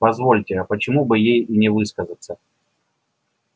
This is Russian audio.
позвольте а почему бы ей и не высказаться